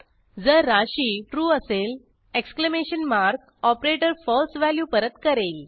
जर राशी ट्रू असेल exclamation mark operator false value परत करेल